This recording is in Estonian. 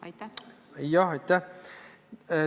Aitäh!